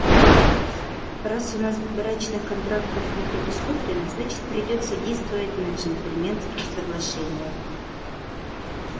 раз у нас брачных контрактов не предусмотрено значит придётся действовать на джентльменских соглашениях